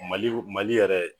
Mali Mali yɛrɛ